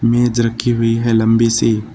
मेज रखी हुई है लंबी सी।